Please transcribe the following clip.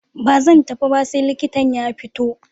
Ba zan tafi ba sai likitan ya fito.